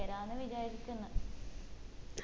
ചേരാന്ന് വിചാരിക്കിന്ന്